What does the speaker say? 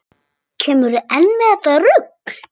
Kemurðu enn með þetta rugl!